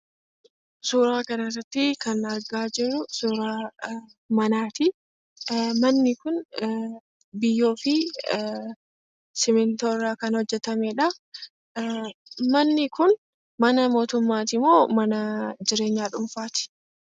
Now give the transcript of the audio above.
Suuraa kana irratti kan argaa jirru suura manaati. Manni kun biyyoo fi simmintoo irraa kan hojjetamedha. Manni kun mana mootummaatimoo mana dhuunfaati?